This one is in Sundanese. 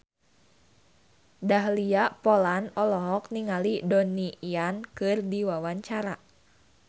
Dahlia Poland olohok ningali Donnie Yan keur diwawancara